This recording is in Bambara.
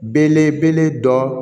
Belebele dɔ